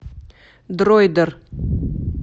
дроидер